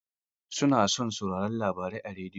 Mutane na son saurarin labarai a rediyo.